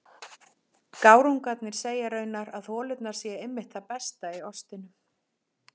Gárungarnir segja raunar að holurnar séu einmitt það besta í ostinum.